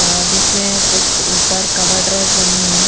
और जिसमें कुछ ऊपर कॉबर्ड रैक बनी हुई हैं।